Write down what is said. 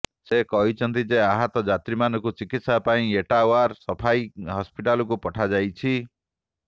ସେ କହିଛନ୍ତି ଯେ ଆହତ ଯାତ୍ରୀମାନଙ୍କୁ ଚିକିତ୍ସା ପାଇଁ ଏଟାୱାର ସ୘ଫାଇ ହସ୍ପିଟାଲକୁ ପଠାଯାଇଛି